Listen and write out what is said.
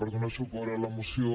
per donar suport a la moció